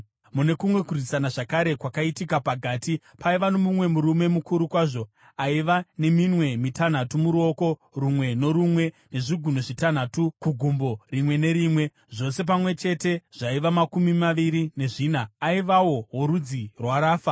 Mune kumwe kurwisana zvakare, kwakaitika paGati paiva nomumwe murume mukuru kwazvo aiva neminwe mitanhatu muruoko rumwe norumwe nezvigunwe zvitanhatu kugumbo rimwe nerimwe, zvose pamwe chete zvaiva makumi maviri nezvina. Aivawo worudzi rwaRafa.